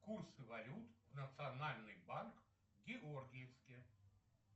курсы валют в национальный банк в георгиевске